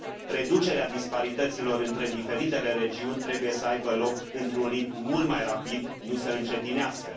Reducerea disparităților între diferitele regiuni trebuie să aibă loc într un ritm mult mai rapid, nu să încetinească.